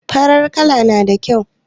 Farar kala na da kyau.